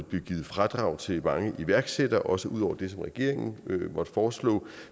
blive givet fradrag til mange iværksættere også ud over det som regeringen måtte foreslå